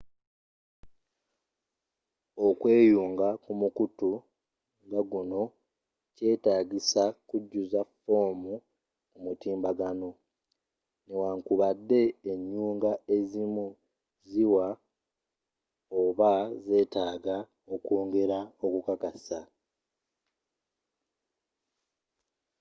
okweyunga ku mukutu nga guno kyetaagisa kujjuza foomu ku mutimbagano newankubadde enyunga ezimu ziwa oba zeetaaga okwongera okukakasa